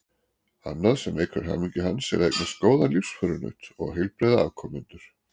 Annað sem eykur hamingju hans er að eignast góðan lífsförunaut og heilbrigða afkomendur.